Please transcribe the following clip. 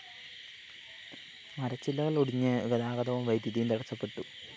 മരച്ചില്ലകള്‍ ഒടിഞ്ഞ് ഗതാഗതവും വൈദ്യുതിയും തടസ്സപ്പെട്ടു